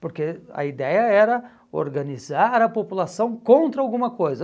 Porque a ideia era organizar a população contra alguma coisa.